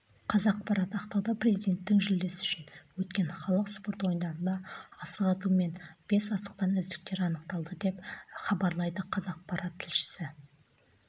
қазақпарат ақтауда президентінің жүлдесі үшін өткен халық спорт ойындарында асық ату мен бес асықтан үздіктер анықталды деп іабарлайды қазақпарат тілшісі